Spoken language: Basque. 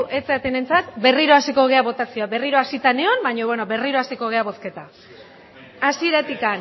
ez zaretenentzat berriro hasiko gara botazio berriro hasita nengoen baino berriro hasiko gara bozketa hasieratik